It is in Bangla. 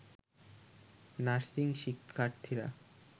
নার্সিং শিক্ষার্থীরা